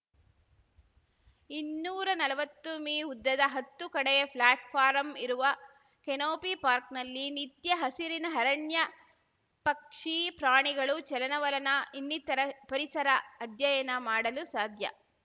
ಇನ್ನೂರಾ ನಲ್ವತ್ತು ಮೀಉದ್ದದ ಹತ್ತು ಕಡೆಯ ಪ್ಲಾಟ್‌ಫಾರಂ ಇರುವ ಕೆನೋಪಿ ಪಾರ್ಕ್ ನಲ್ಲಿ ನಿತ್ಯ ಹಸಿರಿನ ಅರಣ್ಯ ಪಕ್ಷಿ ಪ್ರಾಣಿಗಳು ಚಲನವಲನ ಇನ್ನಿತರ ಪರಿಸರ ಅಧ್ಯಯನ ಮಾಡಲು ಸಾಧ್ಯ